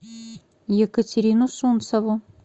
екатерину сунцову